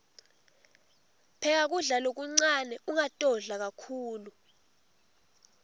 pheka kudla lokuncane ungatodla kakhulu